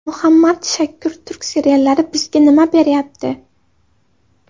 Muhammad Shakur Turk seriallari bizga nima beryapti?